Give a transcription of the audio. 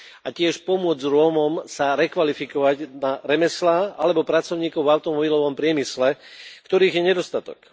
A tiež pomôcť Rómom sa rekvalifikovať na remeslá alebo pracovníkov v automobilovom priemysle, ktorých je nedostatok.